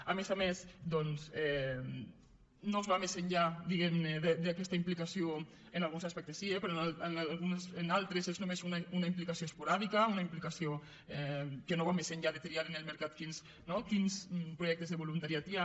a més a més doncs no es va més enllà diguemne d’aquesta implicació en alguns aspectes sí però en altres és només una implicació esporàdica una implicació que no va més enllà de triar en el mercat quins projectes de voluntariat hi ha